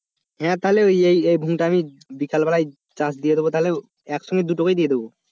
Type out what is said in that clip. হ্যাঁ এই এই ভূটা আমি আমি বিকাল বেলায় চাষ দিয়ে দেবো তাহলে একসঙ্গে দুটোকেই দিয়ে দেবো,